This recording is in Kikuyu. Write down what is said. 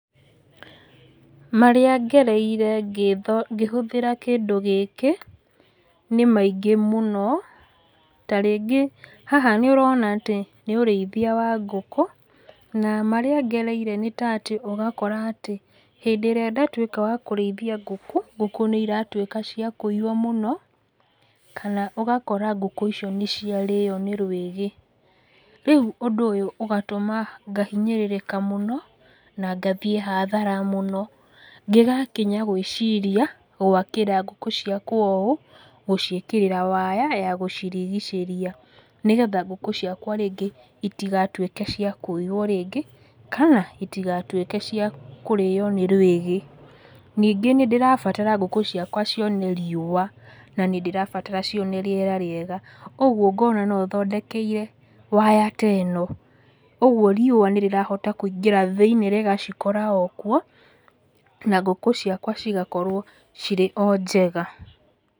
Marĩa ngereire ngĩhũthĩra kĩndũ gĩkĩ, nĩ maingĩ mũno, ta rĩngĩ haha nĩũrona atĩ nĩ ũrĩithia wa ngũkũ, na marĩa ngereire nĩta atĩ ũgakora atĩ hĩndĩ ĩrĩa ndatwĩka wa kũrĩithia ngũkũ, ngũkũ nĩiratwĩka cia kũiywo mũno, kana ũgakora ngũkũ icio níciarĩo nĩ rwĩgi. Rĩu ũndũ ũyũ ũgatũma ngahinyĩrĩrĩka mũno na ngathiĩ hathara mũno, ngĩgakinya gwĩciria gwakĩra ngũkũ ciakwa ũ gũciĩkĩrĩra waya ya gũcirigicĩria, nĩgetha ngũkũ ciakwa rĩngĩ itigatwĩke cia kũiywo rĩngĩ, kana itigatwĩke cia kũrĩo nĩ rwĩgĩ. Ningĩ nĩndĩrabatara ngũkũ ciakwa cione riũa, na nĩndĩrabatara cione rĩera rĩega, ũguo ngona nothondekeire waya ta ĩno, ũguo riũa nĩrĩrahota kũingĩra thĩinĩ rĩgacikora o kuo, na ngũkũ ciakwa cigakorwo cirĩ o njega.